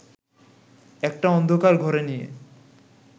একটা অন্ধকার ঘরে নিয়ে